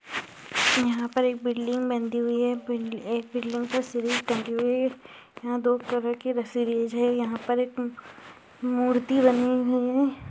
यहाँ पर एक बिल्डिंग बंधी हुई है बिल्डि एक बिल्डिंग पर सीढ़ी टंगी हुई है यहाँ दो कलर के रस्सी लैज है यहाँ पर एक मूर्ति बनी हुई है ।